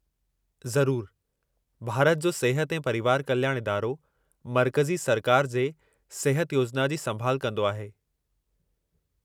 ज़रूरु। भारत जो सिहत ऐं परिवार कल्याणु इदारो मर्कज़ी सरकार जे सिहत योजना जी संभाल कंदो आहे।